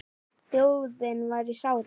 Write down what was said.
Þjóðin var í sárum.